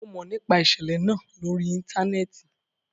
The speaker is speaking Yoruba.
Mo mọ nipa iṣẹlẹ naa lori íńtánẹ́ẹ̀tì